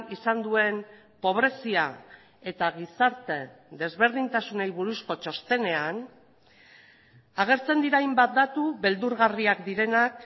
izan duen pobrezia eta gizarte desberdintasunei buruzko txostenean agertzen dira hainbat datu beldurgarriak direnak